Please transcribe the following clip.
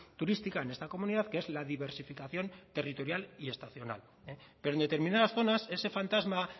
turística en esta comunidad que es la diversificación territorial y estacional pero en determinadas zonas ese fantasma